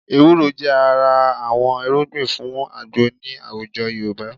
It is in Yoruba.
Ewúro jẹ́ ara àwọn irúgbìn fún àgbo ní àwùjọ Yorùbá